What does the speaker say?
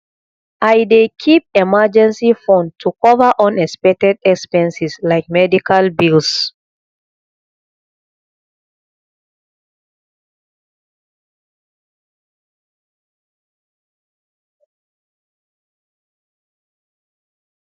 i dey keep emergency fund to cover unexpected expenses like medical bills